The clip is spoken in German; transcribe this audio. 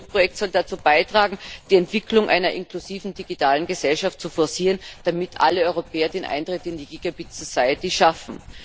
Das Pilotprojekt soll dazu beitragen, die Entwicklung einer inklusiven digitalen Gesellschaft zu forcieren, damit alle Europäer den Eintritt in die schaffen.